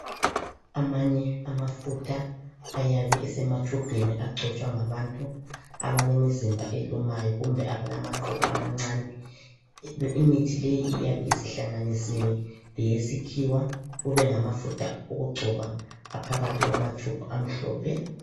Amanye amafutha ayabe esematshubhini agcotshwa ngabantu abalemizimba elumayo kumbe abalamaqubu amancane, imithi leyi iyabe isihlanganisiwe leyesikhiwa kube ngama futha okugcoba aphakathi kwama tshubhu amhlophe.